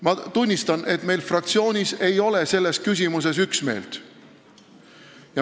Ma tunnistan, et meie fraktsioonis ei ole selles küsimuses üksmeelt.